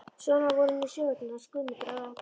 Svona voru nú sögurnar hans Guðmundar ralla.